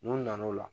N'u nana o la